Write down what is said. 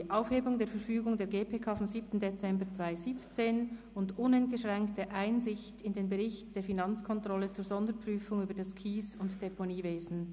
Aufhebung der Verfügung der GPK vom 7. Dezember 2017 und uneingeschränkte Einsicht in den Sonderbericht der Finanzkontrolle zur Sonderprüfung über das Kies- und Deponiewesen.